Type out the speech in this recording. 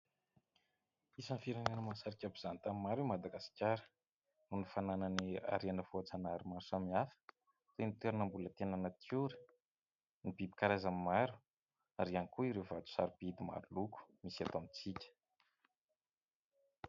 Isan'ny firenena mahasarika mpizaha tany maro i Madagasikara, noho ny fananany harena voajanahary maro samihafa, toy ny toerana mbola tena natiora, ny biby karazany maro ary ihany koa ireo vato sarobidy maro loko misy eto amintsika.